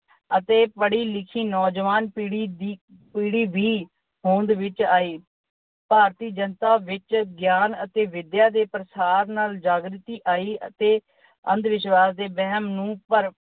ਅਤੇ ਪੜ੍ਹੀ-ਲਿਖੀ ਨੌਜਵਾਨ ਪੀੜ੍ਹੀ ਦੀ ਅਹ ਵੀ ਹੋਂਦ ਵਿੱਚ ਆਈ। ਭਾਰਤੀ ਜਨਤਾ ਵਿੱਚ ਗਿਆਨ ਅਤੇ ਵਿਦਿਆ ਦੇ ਪਾਸਾਰ ਨਾਲ ਜਾਗ੍ਰਤੀ ਆਈ ਅਤੇ ਅੰਧ ਵਿਸ਼ਵਾਸ ਦੇ ਵਹਿਮ ਨੂੰ ਭਰਮ